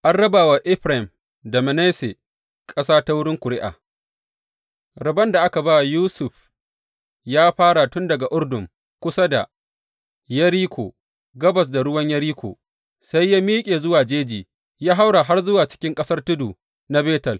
An raba wa Efraim da Manasse ƙasa ta wurin ƙuri’a Rabon da aka ba wa Yusuf ya fara tun daga Urdun kusa da Yeriko, gabas da ruwan Yeriko, sai ya miƙe zuwa jeji, ya haura har zuwa cikin ƙasar tudu na Betel.